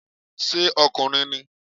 Ṣé ọkùnrin ni?